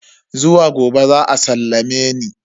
Zuwa gobe za a sallame ni.